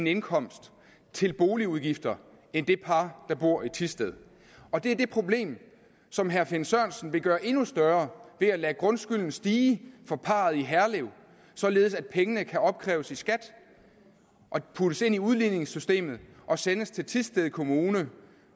indkomst til boligudgifter end det par der bor i thisted og det er det problem som herre finn sørensen vil gøre endnu større ved at lade grundskylden stige for parret i herlev således at pengene kan opkræves i skat og puttes ind i udligningssystemet og sendes til thisted kommune